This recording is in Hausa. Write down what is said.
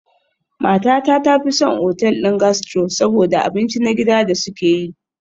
Matata ta fi son otal ɗin gastro saboda abinci na gida da suke yi.